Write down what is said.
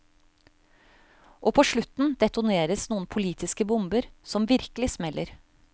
Og på slutten detoneres noen politiske bomber som virkelig smeller.